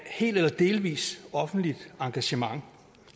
helt eller delvis offentligt engagement